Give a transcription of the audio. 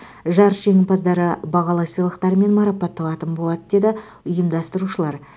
жарыс жеңімпаздары бағалы сыйлықтармен марапатталатын болады деді ұйымдастырушылар